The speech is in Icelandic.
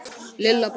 Lilla brosti.